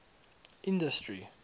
industry